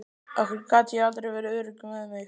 Af hverju gat ég aldrei verið örugg með mig.